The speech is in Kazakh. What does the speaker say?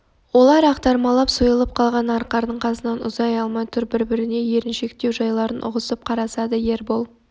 олар ақтармалап сойылып қалған арқардың қасынан ұзай алмай тұр біріне-бірі еріншектеу жайларын ұғысып қарасады ербол